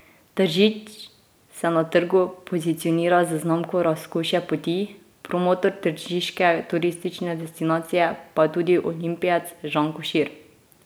Tržič se na trgu pozicionira z znamko Razkošje poti, promotor tržiške turistične destinacije pa je tudi olimpijec Žan Košir.